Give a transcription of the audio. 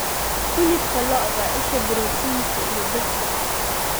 Hilibka lo'da: Isha borotiinka iyo birta.